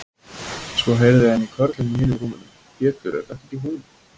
Svo heyrði hann í körlunum í hinum rúmunum: Pétur, er þetta ekki hún.